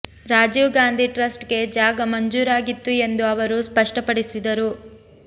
Rajiv Gandhi trust ಗೆ ಜಾಗ ಮಂಜೂರಾಗಿತ್ತು ಎಂದು ಅವರು ಸ್ಪಷ್ಟಪಡಿಸಿದರು